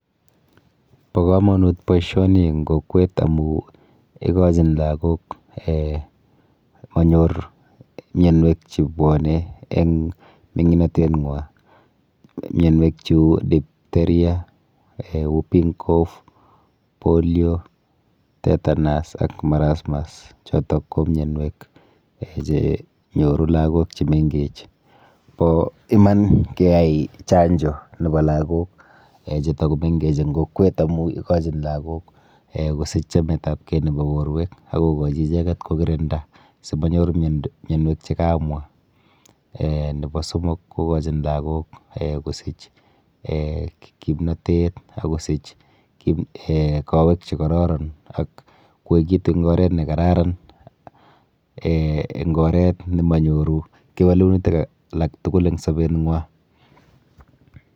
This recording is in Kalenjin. Bo komonut boishoni eng kokwet amu ikochin lagok um manyor mienwek chebwone eng ming'inateng'wa. Mionwek cheu diphtheria um whooping caugh [polio, tetanus ak marasmus, chotok ko mienwek um chenyoru lagok chemenkech. Po iman keyai chanjo nepo lagok um chetakomenkech eng kokwet amu ikochin lagok um kosich chametapkei nepo kokwet ako kokochi icheket kokirinda simanyor mienwek chekaamwa. um Nepo somok kokochin lagok um kosich[um] kimnatet akosich um kowek chekororon ak koekitu eng oret nekararan um eng oret nemanyoru kewelenutik alaktugul eng sobeng'wa.